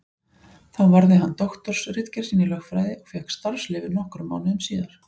Þar varði hann doktorsritgerð sína í lögfræði og fékk starfsleyfi nokkrum mánuðum síðar.